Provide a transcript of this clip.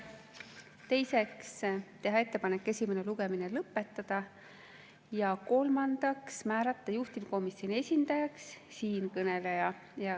Teiseks, teha ettepanek esimene lugemine lõpetada, ja kolmandaks, määrata juhtivkomisjoni esindajaks siinkõneleja.